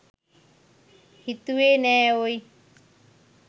හිතුවෙ නෑ ඕයි